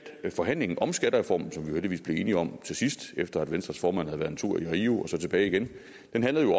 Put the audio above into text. forhandlingen om skattereformen som vi heldigvis blev enige om til sidst efter at venstres formand havde været en tur til rio og tilbage igen